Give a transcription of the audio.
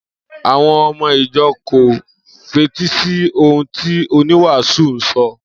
Àwo̩n o̩mo̩ ìjo̩ kò fetí sí ohun tí oníwàásù ń so̩